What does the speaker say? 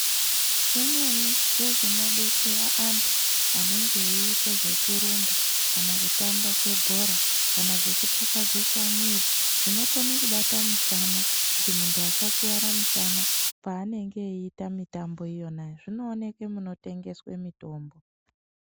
Imweni zvezvinobetsera vantu anenge eite zvekurumba kana kutamba kwebhora kana zvekutakasiza muwiri, zvinokone kubata musana kuti muntu asakwara mushana paanenge eita mitambo yona iyoyo, zvinooneke paanenge eitengese mitombo.